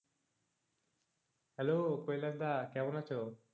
Hello Kailash দা, কেমন আছো?